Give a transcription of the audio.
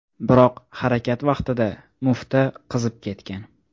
Biroq harakat vaqtida mufta qizib ketgan.